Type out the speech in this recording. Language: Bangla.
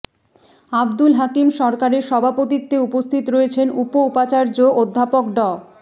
আবদুল হাকিম সরকারের সভাপতিত্বে উপস্থিত রয়েছেন উপ উপাচার্য অধ্যাপক ড